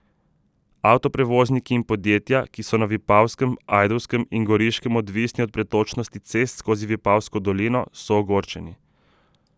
Avtoprevozniki in podjetja, ki so na Vipavskem, Ajdovskem in Goriškem odvisni od pretočnosti cest skozi Vipavsko dolino, so ogorčeni.